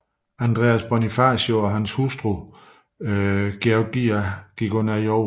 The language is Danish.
Andres Bonifacio og hans hustru Gregoria gik under jorden